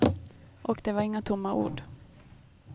Och det var inga tomma ord.